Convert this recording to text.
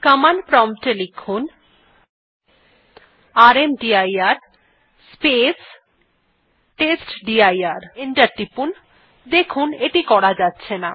enter টিপুন দেখুন এটি করা যাচ্ছে না